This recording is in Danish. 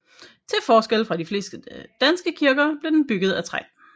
Til forskel fra de fleste danske kirker blev den bygget af træ